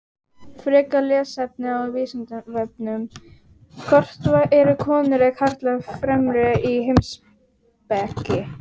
Frekara lesefni á Vísindavefnum: Hvort eru konur eða karlar fremri í heimspeki?